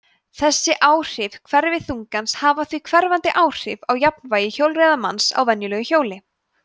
þessi áhrif hverfiþungans hafa því hverfandi áhrif á jafnvægi hjólreiðamanns á venjulegu hjóli